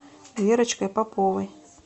верочкой поповой